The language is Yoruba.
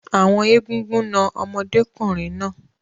Àwọn Egúngún na ọmọdékùnrin náà.